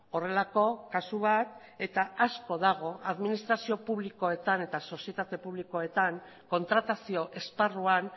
horrelako kasu bat eta asko dago administrazio publikoetan eta sozietate publikoetan kontratazio esparruan